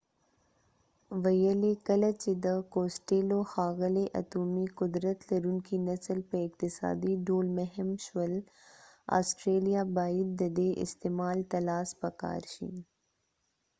ښاغلي costello ویلي کله چې د اتومي قدرت لرونکي نسل په اقتصادي ډول مهم شول آسټرلیا باید ددې استعمال ته لاس پکار شي